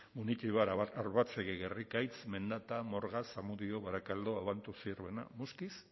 munitibar arbatzegi gerrikaitz mendata morga zamudio barakaldo abanto zierbena muskiz